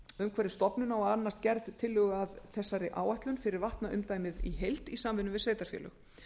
umhverfisstofnun á að annast gerð tillögu að þessari áætlun fyrir vatnaumdæmið í heild í samvinnu við sveitarfélög